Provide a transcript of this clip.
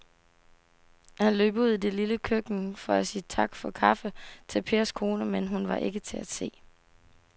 Han løb ud i det lille køkken for at sige tak for kaffe til Pers kone, men hun var ikke til at se.